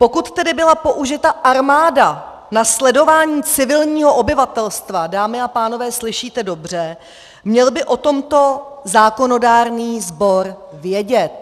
Pokud tedy byla použita armáda na sledování civilního obyvatelstva - dámy a pánové, slyšíte dobře -, měl by o tomto zákonodárný sbor vědět.